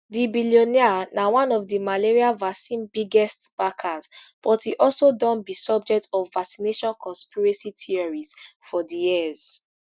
di billionaire na one of di malaria vaccine biggest backers but e also don be subject of vaccination conspiracy theories for years